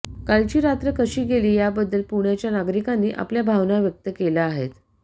कालची रात्र कशी गेली याबद्दल पुण्याच्या नागरिकांनी आपल्या भावना व्यक्त केल्या आहेत